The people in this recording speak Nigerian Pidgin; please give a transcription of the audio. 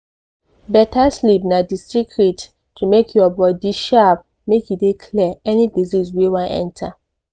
beta sleep na di secret to make your body sharp make e dey clear any disease wey wan enter.